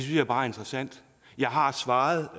jeg bare er interessant jeg har svaret